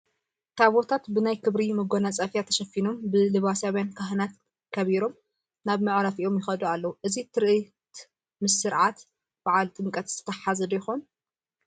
ታቦታት ብናይ ክብሪ መጐናፀፊያ ተሸፊኖም ብለባስያን ካህናት ከቢሮም ናብ መዕረፊኦም ይኸዱ ኣለዉ፡፡ እዚ ትርኢት ምስ ስርዓት በዓለ ጥምቀት ዝተተሓሓዘ ዶ ይኾን?